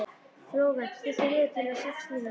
Flóvent, stilltu niðurteljara á sex mínútur.